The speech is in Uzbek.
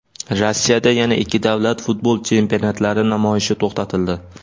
Rossiyada yana ikki davlat futbol chempionatlari namoyishi to‘xtatildi.